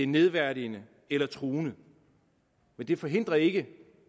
nedværdigende eller truende men det forhindrer ikke